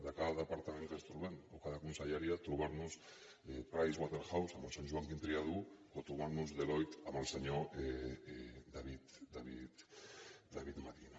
de cada departament que ens trobem o cada conselleria trobar nos pricewaterhouse amb el senyor joaquim triadú o trobar nos deloitte amb el senyor david madí